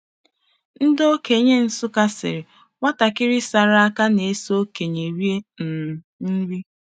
Ndị okenye Nsukka sịrị, “Nwatakịrị sara aka, na-eso okenye rie um nri.”